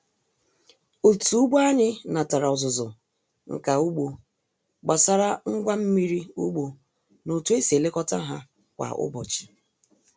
Otu ugbo anyị natara ọzụzụ nka ugbo gbasara ngwa mmiri ugbo na otu esi elekọta ha kwa ụbọchị.